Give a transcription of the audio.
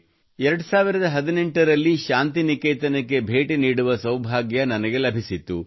2018 ರಲ್ಲಿ ಶಾಂತಿ ನಿಕೇತನಕ್ಕೆ ಭೇಟಿ ನೀಡುವ ಸೌಭಾಗ್ಯ ನನಗೆ ಲಭಿಸಿತ್ತು